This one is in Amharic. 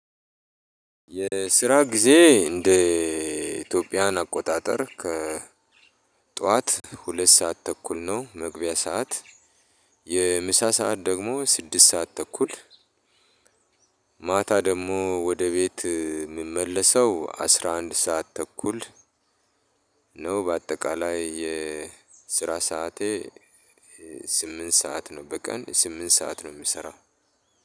የስራ ጊዜዬ እንደ ኢትዮጵያን አቆጣጠር ከ ጠዋት ሁለት ሰዓት ተኩል ነው መግቢያ ሰዓት። የምሳ ሰዓት ደግሞ ስድስት ሰዓት ተኩል ማታ ደግሞ ወደ ቤት የምመለሰው አስራ አንድ ሰዓት ተኩል ነው። በአጠቃላይ የስራ ሰዓቴ ስምንት ሰዓት ነው በቀን ስምንት ሰዓት ነው የምሰራው።